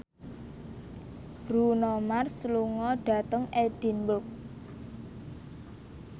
Bruno Mars lunga dhateng Edinburgh